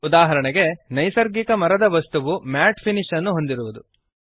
ಉದಾಹರಣೆಗೆ ನೈಸರ್ಗಿಕ ಮರದ ವಸ್ತುವು ಮ್ಯಾಟ್ ಫಿನಿಶ್ ಅನ್ನು ಹೊಂದಿರುವುದು